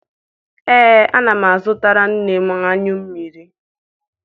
Ee, ana m azụtara nne m anyụ mmiri.